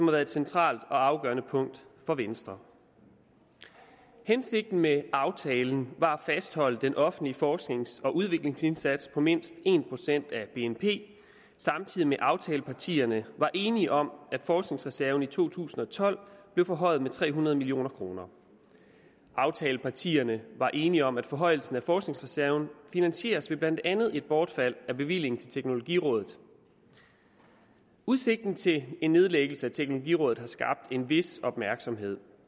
været et centralt og afgørende punkt for venstre hensigten med aftalen var at fastholde den offentlige forsknings og udviklingsindsats på mindst en procent af bnp samtidig med at aftalepartierne var enige om at forskningsreserven i to tusind og tolv blev forhøjet med tre hundrede million kroner aftalepartierne var enige om at forhøjelsen af forskningsreserven finansieres ved blandt andet et bortfald af bevillingen til teknologirådet udsigten til en nedlæggelse af teknologirådet har skabt en vis opmærksomhed